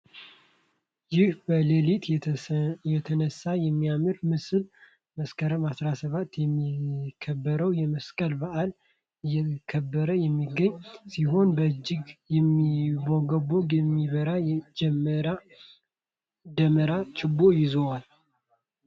ይህ በሌሊት የተነሳው የሚያምር ምስል መስከረም 17 የሚከበረውን የመስቀል በአል እያከበረ የሚገኝ ሲሆን በእጁም የሚንቦገቦግና የሚያበራ የ ደመራ ችቦ ይዙዋል።